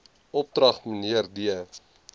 opdrag mnr d